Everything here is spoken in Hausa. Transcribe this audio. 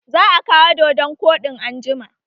Za a kawo dodon koɗin anjima